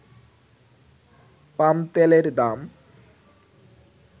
পাম তেলের দাম